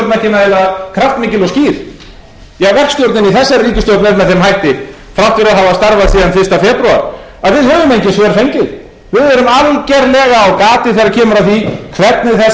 að við höfum engin svör fengið við erum algjörlega á gati þegar kemur að því hvernig þessi ríkisstjórn ætlar að